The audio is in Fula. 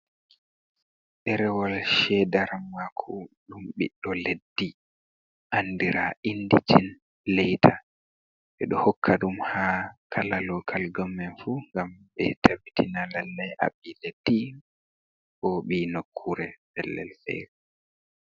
Ɗerewol cheda maku ɗum biɗɗo leddi andira indigin leyta ɓe ɗo hokka ɗum ha kala lokal gommen fu, ngam ɓe tabbitina lallai aɓi leddi bo ɓi nokkure pellel fere.